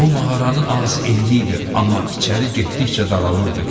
Bu mağaranın ağzı enli idi, amma içəri getdikcə daralırdı.